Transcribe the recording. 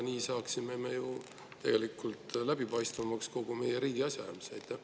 Nii saaksime ju tegelikult kogu meie riigi asjaajamise läbipaistvamaks.